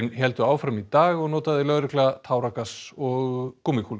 héldu áfram í dag og notaði lögregla táragas og